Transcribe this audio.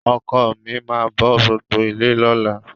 Ọkọ mi máa bọ́ gbogbo ilé lọ́la.